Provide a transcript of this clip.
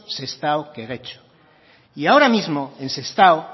sestao que getxo y ahora mismo en sestao